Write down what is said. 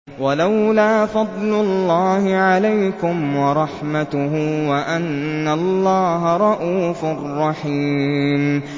وَلَوْلَا فَضْلُ اللَّهِ عَلَيْكُمْ وَرَحْمَتُهُ وَأَنَّ اللَّهَ رَءُوفٌ رَّحِيمٌ